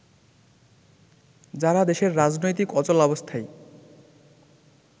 যারা দেশের রাজনৈতিক অচলাবস্থায়